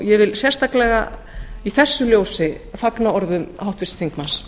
ég vil sérstaklega í því ljósi fagna orðum háttvirts þingmanns